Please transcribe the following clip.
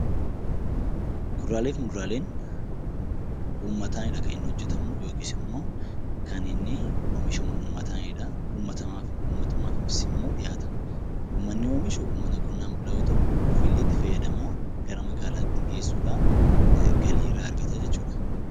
Kuduraalee fi muduraaleen uummataanidha kan inni hojjetamu yookiis immoo kan inni oomishamu uummataanidha. Uummatumaafisimmoo dhiyaata. Uummatni oomishu uummata qonnaan bulaa yoo ta'u, ofiillee itti fayyadamaa gara magaalaatti geessuudhaan galii irraa argata jechuudha.